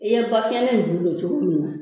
I ye bafiyɛn nin ju don cogo min na